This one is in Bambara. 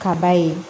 Ka ba ye